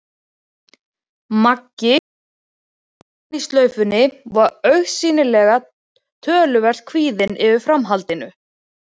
Maggi, enn með rjómann í slaufunni, var augsýnilega töluvert kvíðinn yfir framhaldinu.